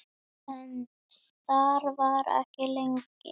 En þar var ekki lengi.